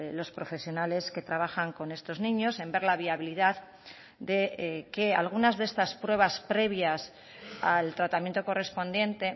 los profesionales que trabajan con estos niños en ver la viabilidad de que algunas de estas pruebas previas al tratamiento correspondiente